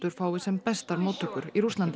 fái sem bestar móttökur í Rússlandi